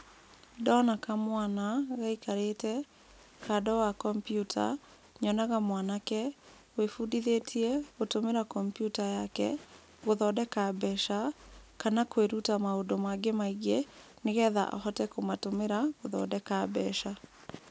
Ndona kamwana gaikarĩte kando wa kompiuta, nyonaga mwanake wĩbundithĩtie gũtũmĩra kompiuta yake, gũthondeka mbeca kana kwĩruta maũndũ maũndũ mangĩ maingĩ nĩgetha ahote kũmatũmĩra gũthondeka mbeca.